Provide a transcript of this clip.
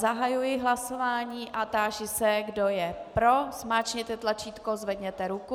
Zahajuji hlasování a táži se, kdo je pro, zmáčkněte tlačítko, zvedněte ruku.